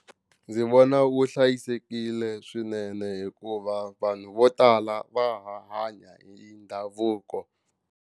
Ndzi vona wu hlayisekile swinene hikuva vanhu vo tala va ha hanya hi ndhavuko.